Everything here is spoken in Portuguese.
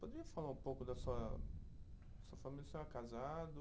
Poderia falar um pouco da sua, sua família, o senhor é casado